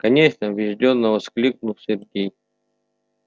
конечно убеждённо воскликнул сергей